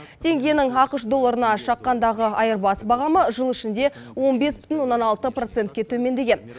теңгенің ақш долларына шаққандағы айырбас бағамы жыл ішінде он бес бүтін оннан алты процентке төмендеген